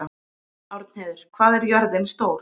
Árnheiður, hvað er jörðin stór?